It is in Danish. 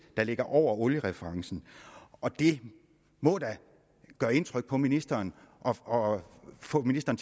der ligger over oliereferencen og det må da gøre indtryk på ministeren og få ministeren